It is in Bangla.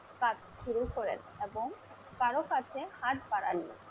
কাজ শুরু করেন এবং কারোর কাছে হাত বাড়ান নি।